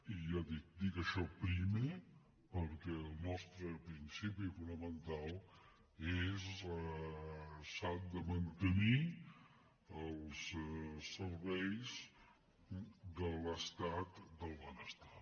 i ja ho dic dic això primer perquè el nostre principi fonamental és que s’han de mantenir els serveis de l’estat del benestar